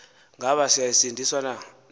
ngaba siyasindiswa na